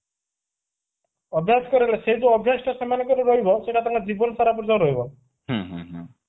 ଅଭ୍ୟାସ କରାଇବେ ସେଇ ଯୋଉ ଅଭ୍ୟାସ ଟା ସେମାନଙ୍କର ରହିବ ସେଇଟା ତାଙ୍କ ଜୀବନସାରା ପାଇଁ ରହିବ